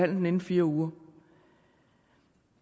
den inden fire uger